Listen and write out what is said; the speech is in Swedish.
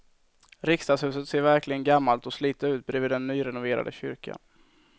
Riksdagshuset ser verkligen gammalt och slitet ut bredvid den nyrenoverade kyrkan.